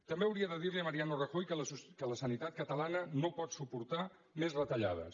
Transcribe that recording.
també hauria de dir li a mariano rajoy que la sanitat catalana no pot suportar més retallades